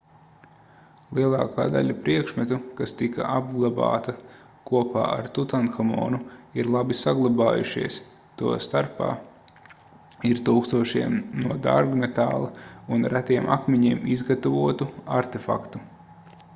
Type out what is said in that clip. lielākā daļa priekšmetu kas tika apglabāta kopā ar tutanhamonu ir labi saglabājušies to starpā ir tūkstošiem no dārgmetāla un retiem akmeņiem izgatavotu artefaktu